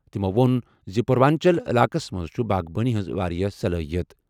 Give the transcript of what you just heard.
تٔمو ووٚن زِ پوروانچل علاقَس منٛز چھِ باغبٲنی ہٕنٛز واریاہ صلٲحیت۔